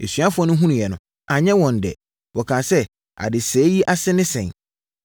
Asuafoɔ no hunuiɛ no, anyɛ wɔn dɛ. Wɔkaa sɛ, “Adesɛeɛ yi ase ne sɛn?